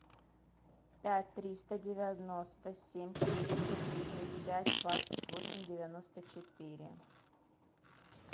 пять триста девяносто семь четыреста тридцать пять двадцать восемь девяносто четыре